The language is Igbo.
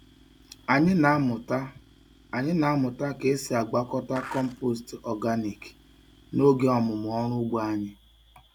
Anyị na-amụta Anyị na-amụta ka esi agwakọta compost organic n'oge ọmụmụ ọrụ ugbo anyị.